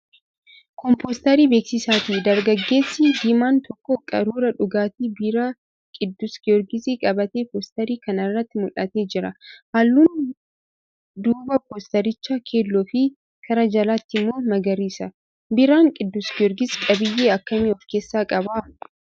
Kun poosterii beeksisaati. Dargaggeessi diimaan tokko qaruuraa dhugaatii biiraa 'Qidduus Giyoorgis' qabatee poosterii kana irratti mul'atee jira. Halluun duubaa poosterichaa keelloofi karaa jalaatiin immoo magariisa. Biiraan 'Qiddus Giyoorgis' qabiyyee akkamii of keessaa qaba?